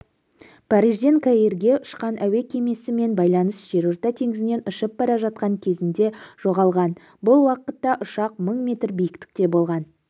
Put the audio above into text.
парижден каирге ұшқан әуе кемесімен байланыс жерорта теңізінен ұшып бара жатқан кезінде жоғалған бұл уақытта ұшақ мың метр биіктікте болған